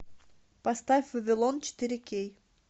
поставь вавилон четыре кей